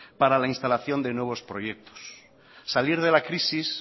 para la instalación de nuevos proyectos salir de la crisis